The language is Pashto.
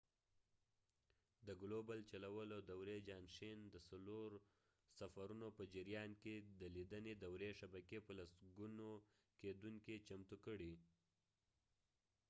د ګلوبل چلولو دورې جانشین د څلور سفرونو په جریان کې د لیدنې دورې شبکې په لسګونو لیدونکي چمتو کړئ